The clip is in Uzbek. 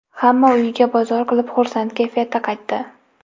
Hamma uyiga bozor qilib, xursand kayfiyatda qaytdi.